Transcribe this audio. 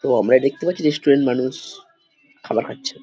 তো আমরা দেখতে পাচ্ছি রেস্টুরেণ্ট মানুষ খাবার খাচ্ছে।